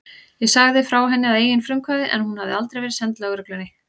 Ég sagði frá henni að eigin frumkvæði en hún hafði aldrei verið send lögreglunni.